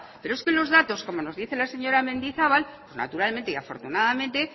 pero es que en los datos como nos dice la señora mendizabal naturalmente y afortunadamente